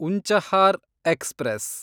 Unchahar express